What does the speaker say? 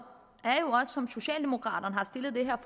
som socialdemokraterne har stillet det her